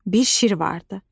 Bir şir vardı.